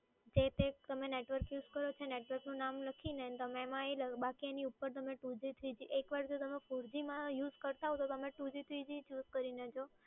જે તે તમે નેટવર્ક યુઝ કરો છો એ નેટવર્કનું નામ લખીને તમે એમાં એ બાકી એની ઉપર તમે two g three g એકવાર જો તમે four g માં યુઝ કરતાં હોવ તો તમે two g three g choose કરીને જુઓ.